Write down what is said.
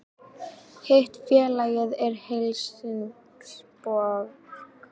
Hitt félagið er Helsingborg